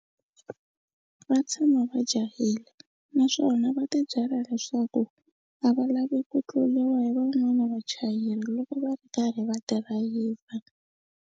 Va tshama va jahile naswona va tibyela leswaku a va lavi ku tluriwa hi van'wana vachayeri loko va ri karhi va dirayivha.